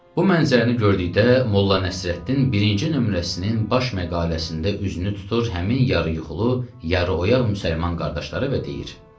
Bu mənzərəni gördükdə Molla Nəsrəddin birinci nömrəsinin baş məqaləsində üzünü tutur həmin yarı yuxulu, yarı oyaq müsəlman qardaşlara və deyir: